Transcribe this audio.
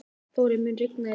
Þórey, mun rigna í dag?